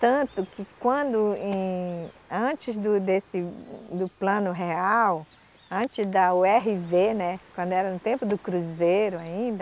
Tanto que quando em, antes do desse, do Plano Real, antes da u erre vê, né, quando era no tempo do cruzeiro ainda,